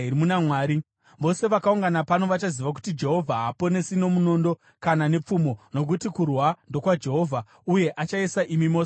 Vose vakaungana pano vachaziva kuti Jehovha haaponesi nomunondo kana nepfumo; nokuti kurwa ndokwaJehovha, uye achaisa imi mose mumaoko edu.”